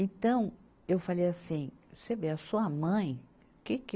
Então, eu falei assim, você vê, a sua mãe, que que...